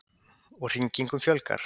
Og hringingunum fjölgar.